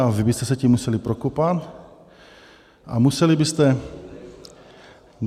A vy byste se tím museli prokopat a museli byste...